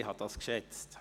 Das habe ich geschätzt.